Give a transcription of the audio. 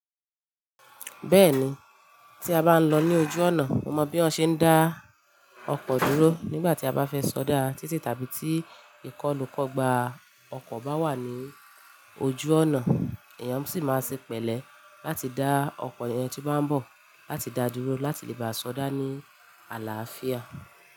Bẹ́ẹ̀ni, tí a bá ń lọ ní ojú ọ̀nà, mo mọ bí wọ́n ṣe ń dá ọkọ̀ dúró nígbà tí a bá fẹ́ sọdá títì tàbí tí ìkọlù kọ́ gba ọkọ̀ bá wà ní ojú ọ̀nà. Eyan sì máa ń ṣe pẹ̀lẹ́ láti dá ọkọ̀ ìyen tí bá ń bọ̀ láti dá dúró láti lè bá a sọdá ní àlàáfíà.